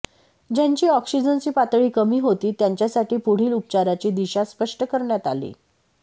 ज्यांची ऑक्सिजनची पातळी कमी होती त्यांच्यासाठी पुढील उपचाराची दिशा स्पष्ट करण्यात आली